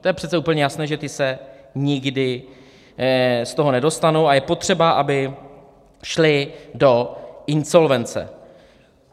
To je přece úplně jasné, že ti se nikdy z toho nedostanou a je potřeba, aby šli do insolvence.